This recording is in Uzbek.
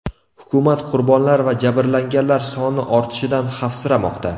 Hukumat qurbonlar va jabrlanganlar soni ortishidan xavfsiramoqda.